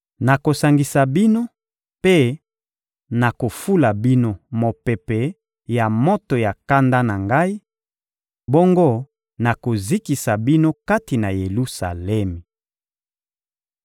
Nakosangisa bino mpe nakofula bino mopepe ya moto ya kanda na Ngai; bongo nakozikisa bino kati na Yelusalemi.